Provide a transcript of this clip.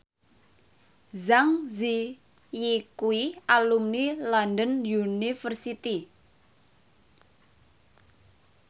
Zang Zi Yi kuwi alumni London University